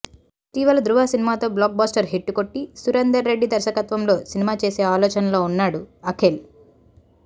ఇటీవల ధృవ సినిమాతో blockbuster hit కొట్టి సురేందర్ రెడ్డి దర్శకత్వంలో సినిమా చేసే ఆలోచనలో ఉన్నాడు అఖిల్